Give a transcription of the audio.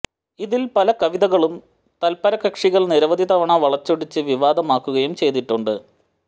ഇതിൽ പല കവിതകളും തൽപരകക്ഷികൾ നിരവധി തവണ വളച്ചൊടിച്ച് വിവാദമാക്കുകയും ചെയ്തിട്ടുണ്ട്